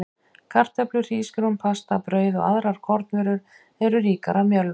Kartöflur, hrísgrjón, pasta, brauð og aðrar kornvörur eru ríkar af mjölva.